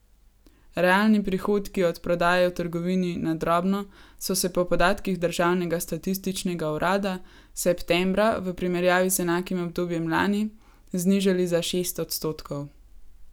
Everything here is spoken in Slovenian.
Realni prihodki od prodaje v trgovini na drobno so se po podatkih državnega statističnega urada septembra v primerjavi z enakim obdobjem lani znižali za šest odstotkov.